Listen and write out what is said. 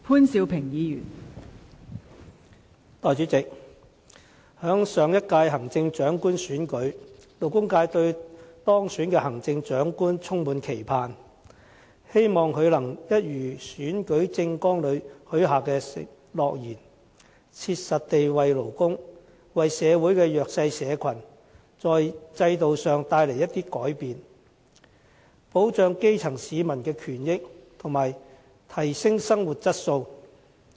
代理主席，在上一屆行政長官選舉過後，勞工界對當選的行政長官充滿期盼，希望他能履行選舉政綱裏許下的諾言，切實地為勞工、為社會的弱勢社群，帶來一些制度上的改變，保障基層市民的權益和提升生活的質素。